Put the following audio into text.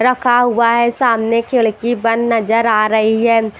रखा हुआ है सामने खिड़की बंद नजर आ रही है।